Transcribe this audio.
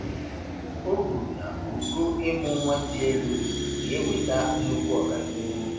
O kwuru na ogo ịmụ nwa dị elu ga-eweta nnukwu ọganihu.